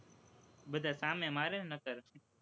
બધા સામે મારે નહીંતર